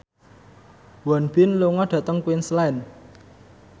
Won Bin lunga dhateng Queensland